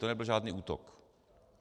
To nebyl žádný útok.